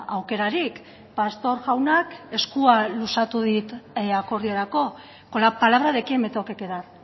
aukerarik pastor jaunak eskua luzatu dit akordiorako con la palabra de quién me tengo que quedar